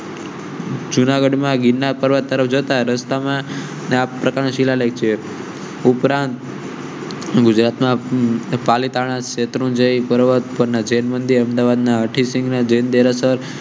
જુનાગઢ માં ગીરનાર પર્વત તરફ જતા રસ્તા પ્રકાર ના શિલાલેખ ઉપરાંત. ગુજરાત ના પાલીતાણા શેત્રુંજય પર્વત પર જૈન મંદિર અમદાવાદ ના હઠી સિંહ જૈન દેરાસર